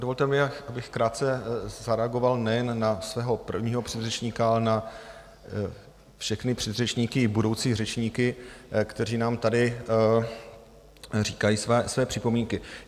Dovolte mi, abych krátce zareagoval nejen na svého prvního předřečníka, ale na všechny předřečníky i budoucí řečníky, kteří nám tady říkají své připomínky.